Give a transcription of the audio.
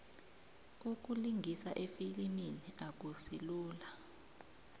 ukulingisa efilimini akusilula